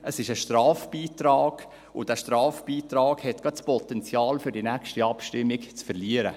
Es ist ein Strafbeitrag, und dieser Strafbeitrag hat gerade das Potenzial, die nächste Abstimmung zu verlieren.